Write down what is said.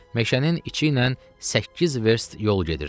Meşənin içi ilə səkkiz verst yol gedirdi.